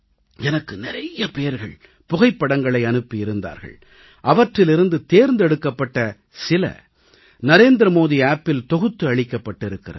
எனக்கு நிறைய பேர்கள் புகைப்படங்களை அனுப்பி இருந்தார்கள் அவற்றிலிருந்து தேர்ந்தெடுக்கப்பட்ட சில நரேந்திர மோடி செயலியில் தொகுத்து அளிக்கப்பட்டிருக்கிறது